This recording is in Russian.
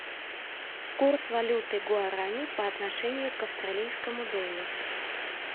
курс валюты гуарани по отношению к австралийскому доллару